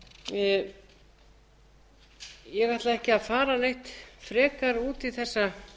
ég ætla ekki að fara neitt frekar út í